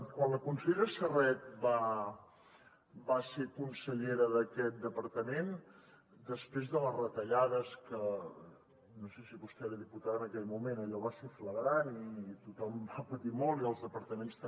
quan la consellera serret va ser consellera d’aquest departament després de les retallades que no sé si vostè era diputada en aquell moment allò va ser flagrant i tothom va patir molt i els departaments també